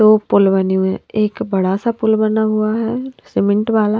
दो पुल बने हुए है एक बड़ा सा पुल बना हुआ है सीमेंट वाला--